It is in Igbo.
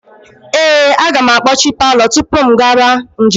Ee, aga m akpọchi palọ tupu m gaba njem.